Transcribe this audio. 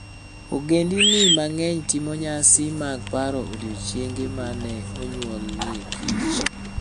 Ogendini mang'eny timo nyasi mag paro odiechienge ma ne onyuolieKich.